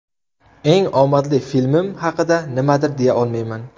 Eng omadli filmim haqida nimadir deya olmayman.